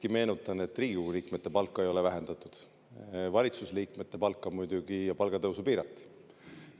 Ma meenutan, et Riigikogu liikmete palka ei ole siiski vähendatud, valitsusliikmete palka ja palgatõusu muidugi piirati.